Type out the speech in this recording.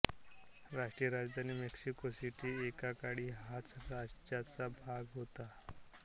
राष्ट्रीय राजधानी Mexico City एकेकाळी ह्याच राज्याचा भाग होती